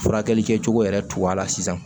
Furakɛli kɛcogo yɛrɛ tugu a la sisan